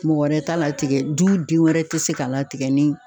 Mɔgɔ wɛrɛ t'a latigɛ ,du den wɛrɛ te se ka latigɛ ni